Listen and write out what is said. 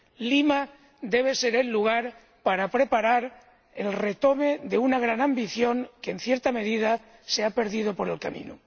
Lima debe ser el lugar para preparar la recuperación de una gran ambición que, en cierta medida, se ha perdido por el camino.